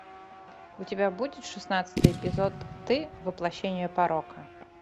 у тебя будет шестнадцатый эпизод ты воплощение порока